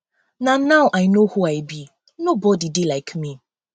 na now i no who i be nobody dey um like me